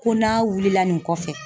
Ko n'a wulila nin kɔfɛ